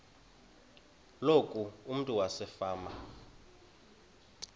loku umntu wasefama